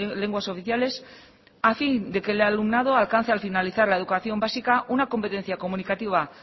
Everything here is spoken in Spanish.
lenguas oficiales a fin de que el alumnado alcance al finalizar la educación básica una competencia comunicativa